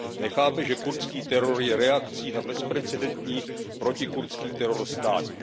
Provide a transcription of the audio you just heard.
Nechápe, že kurdský teror je reakcí na bezprecedentní protikurdský teror státní.